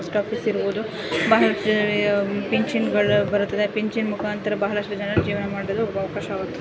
post office ಇರಬಹುದು ಬಹಳಷ್ಟ್ಟು ಪಿಂಚಿನಗಳು ಬರ್ತವೆ ಪಿಂಚಿನ್ ಮುಖಾಂತರ ಬಹಳಷ್ಟು ಜನರು ಜೀವನ ಮಾಡಲು ತುಂಬಾ ಅವಕಾಶವಾ--